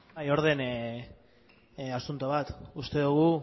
orden asunto bat uste dugu